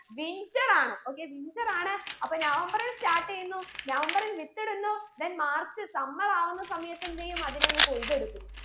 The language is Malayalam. winter ആണ് okaywinter ആണ് അപ്പൊ നവംബറിൽ start ചെയ്യുന്നു നവംബറിൽ വിത്തിടുന്നു then മാർച്ച് summer ആകുന്ന സമയത്ത് എന്തെയ്യും അതിനെ അങ്ങ് കൊയ്തെടുക്കും